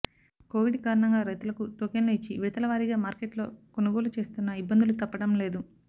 Covid కారణంగా రైతులకు టోకెన్లు ఇచ్చి విడతలవారీగా మార్కెట్లో కొనుగోలు చేస్తున్నా ఇబ్బందులు తప్పడం లేదు